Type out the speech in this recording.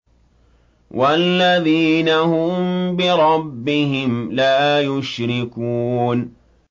وَالَّذِينَ هُم بِرَبِّهِمْ لَا يُشْرِكُونَ